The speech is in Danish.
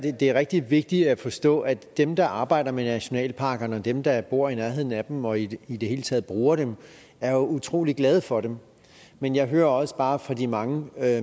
det er rigtig vigtigt at forstå at dem der arbejder med nationalparkerne og dem der bor i nærheden af dem og i i det hele taget bruger dem er utrolig glade for dem men jeg hører også bare fra de mange